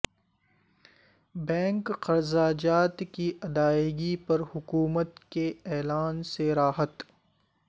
bank قرضہ جات کی ادائیگی پر حکومت کے اعلان سے راحت